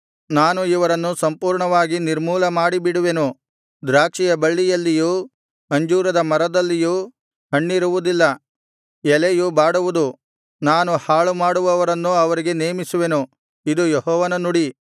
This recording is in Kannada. ನಾನು ಇವರನ್ನು ಸಂಪೂರ್ಣವಾಗಿ ನಿರ್ಮೂಲ ಮಾಡಿಬಿಡುವೆನು ದ್ರಾಕ್ಷಿಯ ಬಳ್ಳಿಯಲ್ಲಿಯೂ ಅಂಜೂರದ ಮರದಲ್ಲಿಯೂ ಹಣ್ಣಿರುವುದಿಲ್ಲ ಎಲೆಯು ಬಾಡುವುದು ನಾನು ಹಾಳುಮಾಡುವವರನ್ನು ಅವರಿಗೆ ನೇಮಿಸುವೆನು ಇದು ಯೆಹೋವನ ನುಡಿ